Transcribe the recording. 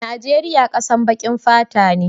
Najeria kasan bakin fata ne.